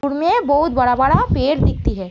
दूर में बहोत बड़ा - बड़ा पेड़ दिखती है।